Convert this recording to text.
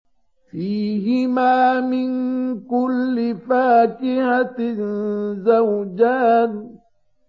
فِيهِمَا مِن كُلِّ فَاكِهَةٍ زَوْجَانِ